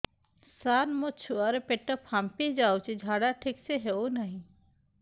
ସାର ମୋ ଛୁଆ ର ପେଟ ଫାମ୍ପି ଯାଉଛି ଝାଡା ଠିକ ସେ ହେଉନାହିଁ